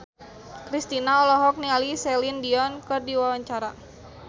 Kristina olohok ningali Celine Dion keur diwawancara